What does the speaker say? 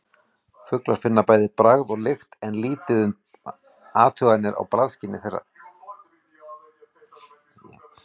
Fuglar finna bæði bragð og lykt en lítið er um athuganir á bragðskyni þeirra.